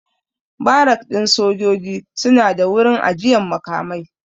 Barak ɗin sojoji suna da wurin ajiyan makamai